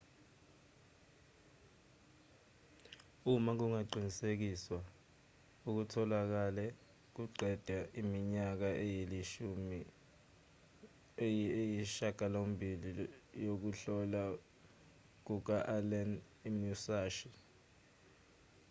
uma kungaqinisekiswa okutholakele kuqeda iminyaka eyisishiyagalombili yokuhlola kuka-allen imusashi